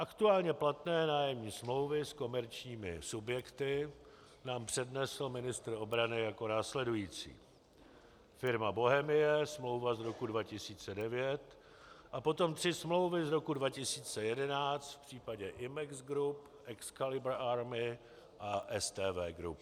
Aktuálně platné nájemní smlouvy s komerčními subjekty nám přednesl ministr obrany jako následující: Firma Bochemie, smlouva z roku 2009, a potom tři smlouvy z roku 2011 v případě Imex Group, Excalibur Army a STV Group.